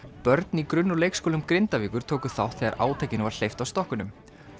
börn í grunn og leikskólum Grindavíkur tóku þátt þegar átakinu var hleypt af stokkunum